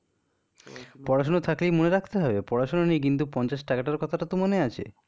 পড়াশুনো থাকলেই মনে রাখতে হবে? পড়াশুনা নেই কিন্তু পঞ্চাশ টাকা টার কথা টা তো মনে আছে